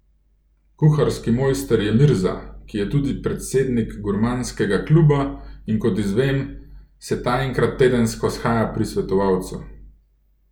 Kuharski mojster je Mirza, ki je tudi predsednik Gurmanskega kluba, in kot izvem, se ta enkrat tedensko shaja pri svetovalcu.